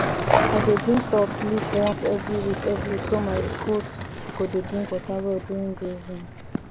i dey bring salt lick once every week every week so my goats go dey drink water well during grazing